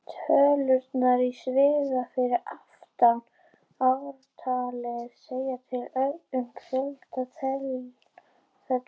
Tölurnar í sviga fyrir aftan ártalið segja til um fjölda tilfella.